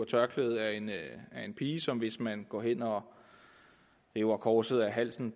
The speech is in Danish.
tørklædet af en pige som hvis man går hen og river korset af halsen